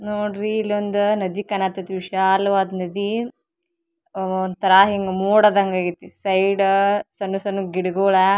ನೋಡ್ರಿ ಇಲ್ಲೊಂದು ನದಿ ಕಾಣಕತ್ತದಿ ವಿಶಾಲವಾದ ನದಿ ಒಂತರ ಹಿಂಗ್ ಮೋಡದ ಅಂಗ್ ಆಗೈತಿ ಸೈಡ್ ಸಣ್ಣ್ ಸಣ್ಣ್ ಗಿಡಗಳ--